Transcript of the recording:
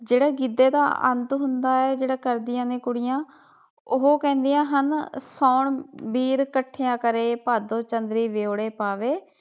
ਜਿਹੜਾ ਗਿੱਧੇ ਦਾ ਅੰਤ ਹੁੰਦਾ ਏ ਜਿਹੜਾ ਕਰਦੀਆਂ ਨੇ ਕੁੜੀਆਂ ਉਹ ਕਹਿੰਦੀਆਂ ਹਨ ਸਾਉਣ ਵੀਰ ਇਕੱਠਿਆਂ ਕਰੇ ਭਾਦੋਂ ਚੰਦਰੀ ਵਿਛੋੜੇ ਪਾਵੇ।